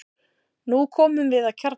Nú komum við að kjarna málsins.